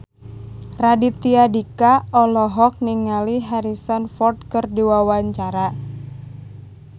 Raditya Dika olohok ningali Harrison Ford keur diwawancara